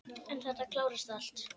En þetta klárast allt.